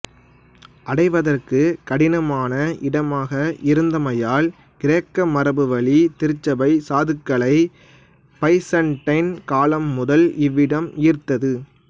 அடைவதற்குக் கடினமான இடமாக இருந்தமையால் கிரேக்க மரபுவழி திருச்சபை சாதுக்களை பைசன்டைன் காலம் முதல் இவ்விடம் ஈர்த்தது